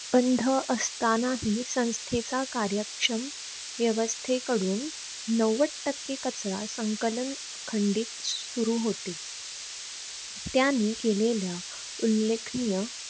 बंध असतानाही संस्थेचा कार्यक्षम व्यवस्थेकडून नव्वद टक्के कचरा संकलन अखंडित सुरु होते. त्यानी केलेल्या उल्लेखनीय